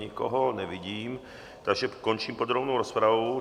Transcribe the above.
Nikoho nevidím, takže končím podrobnou rozpravu.